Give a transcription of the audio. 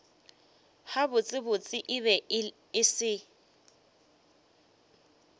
gabotsebotse e be e se